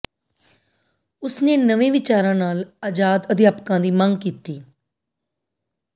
ਉਸਨੇ ਨਵੇਂ ਵਿਚਾਰਾਂ ਨਾਲ ਆਜ਼ਾਦ ਅਧਿਆਪਕਾਂ ਦੀ ਮੰਗ ਕੀਤੀ